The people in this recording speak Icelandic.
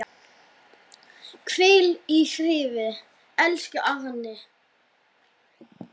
Hvíl í friði, elsku Árni.